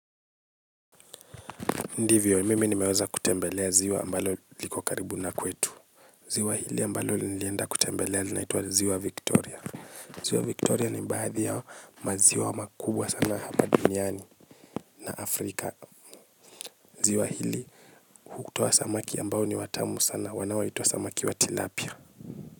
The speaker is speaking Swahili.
Ndivyo mimi nimeweza kutembelea ziwa ambalo liko karibu na kwetu. Ziwa hili ambalo nilienda kutembelea linaitwa ziwa Victoria. Ziwa Victoria ni baadhi ya maziwa makubwa sana hapa duniani na Afrika. Ziwa hili hutoa samaki ambao ni watamu sana wanaoitwa samaki wa tilapia.